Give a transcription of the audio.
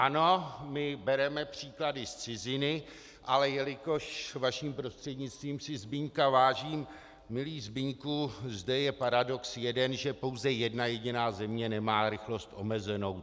Ano, my bereme příklady z ciziny, ale jelikož, vaším prostřednictvím, si Zbyňka vážím, milý Zbyňku, zde je paradox jeden, že pouze jedna jediná země nemá rychlost omezenou.